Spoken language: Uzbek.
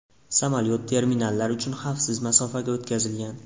Samolyot terminallar uchun xavfsiz masofaga o‘tkazilgan.